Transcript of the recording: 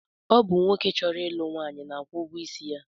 Ọ bụ nwoke chọrọ ịlụ nwaanyị na-akwụ ụgwọisi ya